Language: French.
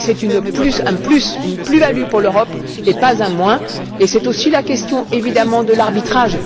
C'est une plus value pour l'Europe et pas un moins et c'est aussi la question évidemment de l'arbitrage.